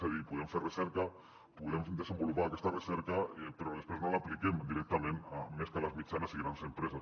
és a dir podem fer recerca podem desenvolupar aquesta recerca però després no l’apliquem directament més que a les mitjanes i grans empreses